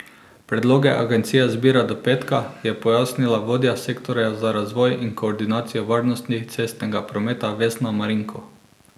Predloge agencija zbira do petka, je pojasnila vodja sektorja za razvoj in koordinacijo varnosti cestnega prometa Vesna Marinko.